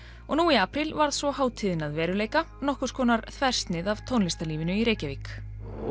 og nú í apríl varð svo hátíðin að veruleika nokkurs konar þversnið af tónlistarlífinu í Reykjavík